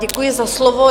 Děkuji za slovo.